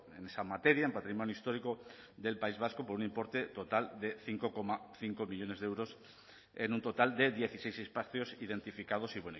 en esa materia en patrimonio histórico del país vasco por un importe total de cinco coma cinco millónes de euros en un total de dieciséis espacios identificados y